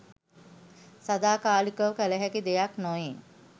සදාකාලිකව කළ හැකි දෙයක් නොවේ.